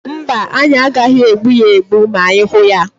Mba, anyị agaghị egbu ya egbu ma anyị hụ ya,.